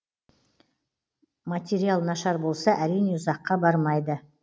мататериал нашар болса әрине ұзаққа бармайды